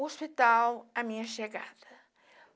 O hospital, a minha chegada.